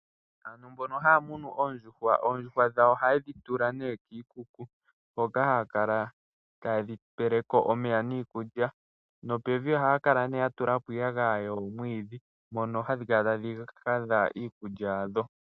Aantu mbono haya munu oondjuhwa. Oondjuhwa dhawo oha yedhi tula kiikuku hoka haya kala ta yedhi peleko omeya niikulya nopevi ohaya kala nee yatulapo nee iiyagaya yoomwiidhi mpono hadhi kala tadhi hadha iikulya yadho.